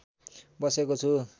बसेको छु